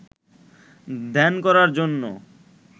ধ্যান করার জন্য